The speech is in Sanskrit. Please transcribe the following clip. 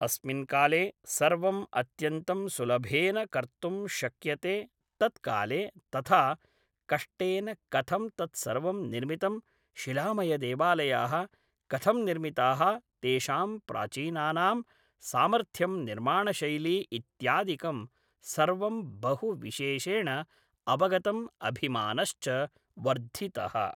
अस्मिन् काले सर्वम् अत्यन्तं सुलभेन कर्तुं शक्यते तत्काले तथा कष्टेन कथं तत् सर्वं निर्मितं शिलामयदेवालयाः कथं निर्मिताः तेषां प्राचीनानां सामर्थ्यं निर्माणशैली इत्यादिकं सर्वं बहु विशेषेण अवगतम् अभिमानश्च वर्धितः